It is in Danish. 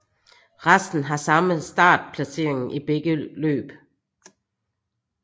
Resten har samme startplaceringen i begge løb